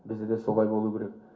бізде де солай болу керек